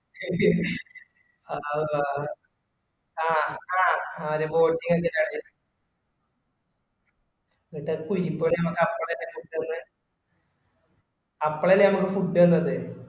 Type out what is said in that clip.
ആ ആ ആ കുഴിക്കോട് അമ്മക്ക് അപ്പള് അല്ലെ food തന്നേ അപ്പള് അല്ലെ നമ്മക്ക് food തന്നത്